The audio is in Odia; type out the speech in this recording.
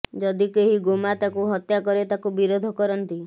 ଯଦି କେହି ଗୋ ମାତାକୁ ହତ୍ୟା କରେ ତାକୁ ବିରୋଧ କରନ୍ତି